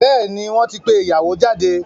Bẹ́ẹ̀ni, wọ́n ti pé ìyàwó jáde.